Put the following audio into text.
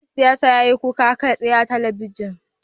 Dan siyasar ya yi kuka kai tsaye a talabijin